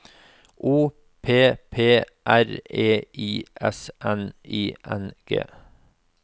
O P P R E I S N I N G